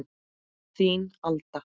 Þín Alda